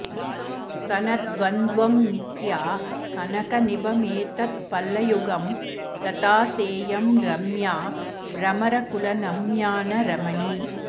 स्तनद्वन्द्वं मिथ्या कनकनिभमेतत्फलयुगं लता सेयं रम्या भ्रमरकुलनम्या न रमणी